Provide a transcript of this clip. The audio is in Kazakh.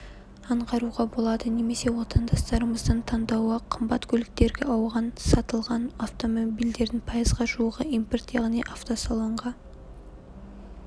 аңғаруға болады немесе отандастарымыздың таңдауы қымбат көліктерге ауған сатылған автомобильдердің пайызға жуығы импорт яғни автосалонға